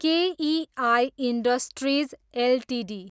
KEI industries Ltd